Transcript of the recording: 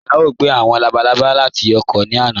Bẹẹni, à yòò gbẹ̀ àwọn làbàlàbà láti ọ̀kọ̀ ní ọ̀là.